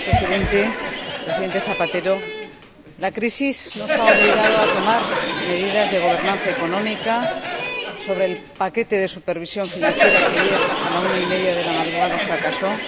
Señor Presidente, Presidente Rodríguez Zapatero, la crisis nos ha obligado a tomar medidas de gobernanza económica sobre el paquete de supervisión financiera —que ayer, a la una y media de la madrugada, fracasó—,